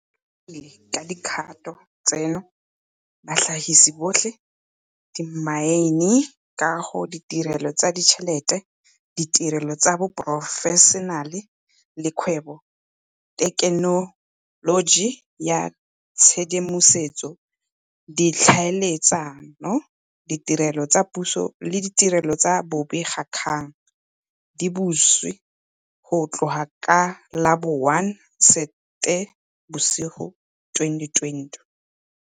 Go ikaegile ka dikgato tseno, batlhagisi botlhe, dimaene, kago, ditirelo tsa ditšhelete, ditirelo tsa boporofešenale le kgwebo, thekenoloji ya tshedimosetso, ditlhaeletsano, ditirelo tsa puso le ditirelo tsa bobegakgang, di butswe go tloga ka la bo 1 Seetebosigo 2020.